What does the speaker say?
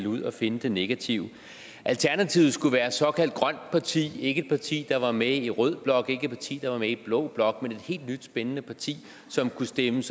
ud og finde det negative alternativet skulle være et såkaldt grønt parti ikke et parti der var med i rød blok ikke et parti der var med i blå blok men et helt nyt spændende parti som kunne stemme